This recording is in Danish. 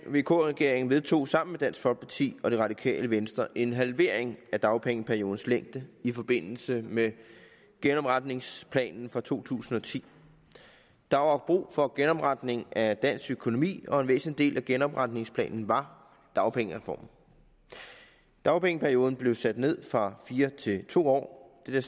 vk regering vedtog sammen med dansk folkeparti og det radikale venstre en halvering af dagpengeperiodens længde i forbindelse med genopretningsplanen fra to tusind og ti der var brug for en genopretning af dansk økonomi og en væsentlig del af genopretningsplanen var dagpengereformen dagpengeperioden blev sat ned fra fire år til to år dette